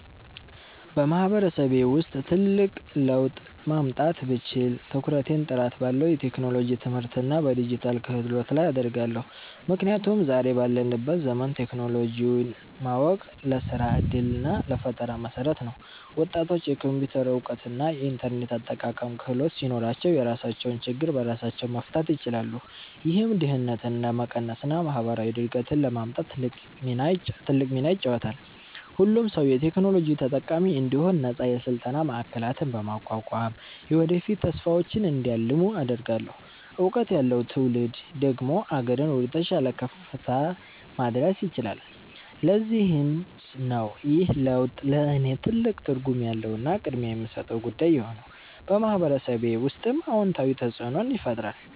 በማህበረሰቤ ውስጥ ትልቅ ለውጥ ማምጣት ብችል፣ ትኩረቴን ጥራት ባለው የቴክኖሎጂ ትምህርትና በዲጂታል ክህሎት ላይ አደርጋለሁ። ምክንያቱም ዛሬ ባለንበት ዘመን ቴክኖሎጂን ማወቅ ለስራ ዕድልና ለፈጠራ መሠረት ነው። ወጣቶች የኮምፒውተር እውቀትና የኢንተርኔት አጠቃቀም ክህሎት ሲኖራቸው፣ የራሳቸውን ችግር በራሳቸው መፍታት ይችላሉ። ይህም ድህነትን ለመቀነስና ማህበራዊ እድገትን ለማምጣት ትልቅ ሚና ይጫወታል። ሁሉም ሰው የቴክኖሎጂ ተጠቃሚ እንዲሆን ነፃ የስልጠና ማዕከላትን በማቋቋም፣ የወደፊት ተስፋቸውን እንዲያልሙ አደርጋለሁ። እውቀት ያለው ትውልድ ደግሞ አገርን ወደተሻለ ከፍታ ማድረስ ይችላል። ለዚህም ነው ይህ ለውጥ ለእኔ ትልቅ ትርጉም ያለውና ቅድሚያ የምሰጠው ጉዳይ የሆነው፤ በማህበረሰቤ ውስጥም አዎንታዊ ተፅእኖን ይፈጥራል።